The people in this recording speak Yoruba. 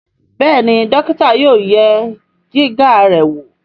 Béèni dókítà yóò yẹ Jìgá rẹ wọ.